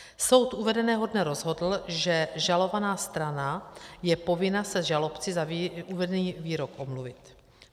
Soud uvedeného dne rozhodl, že žalovaná strana je povinna se žalobci za vedený výrok omluvit.